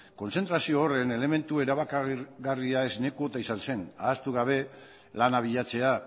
kontzentrazio horren elementu erabakigarria esne kuota izan zen ahaztu gabe lana bilatzea